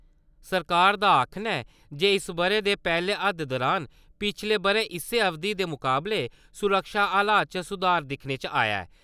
सरकार दा आक्खना ऐ जे इस्स ब'रे दे पैह्ले अद्द दुरान, पिच्छले ब'रे इस्सै अवधि दे मुकाबले, सुरक्षा हालात च सुधार दिक्खने च आया ऐ।